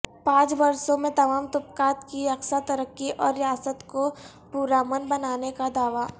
پانچ برسوں میں تمام طبقات کی یکساں ترقی اور ریاست کو پرامن بنانے کا دعوی